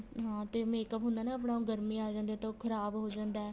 ਹਾਂ ਤੇ makeup ਹੁੰਦਾ ਨਾ ਆਪਣਾ ਉਹ ਗਰਮੀਆਂ ਆ ਜਾਂਦੀਆਂ ਤਾਂ ਉਹ ਖ਼ਰਾਬ ਹੋ ਜਾਂਦਾ